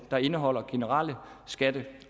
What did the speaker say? der indeholder generelle skatte